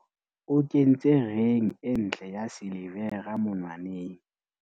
o kentse reng e ntle ya silivera monwaneng